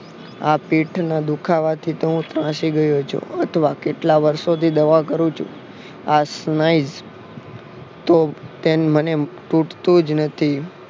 આ પીઠના દુખાવાથી તો હું ત્રાસી ગયો છું અથવા કેટલા વર્ષોથી દવા કરું છું આ તો તેમ મને તૂટતું જ નથી